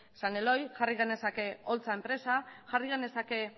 san eloy jarri genezake oltza enpresa jarri genezake